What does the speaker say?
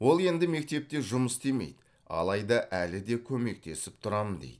ол енді мектепте жұмыс істемейді алайда әлі де көмектесіп тұрамын дейді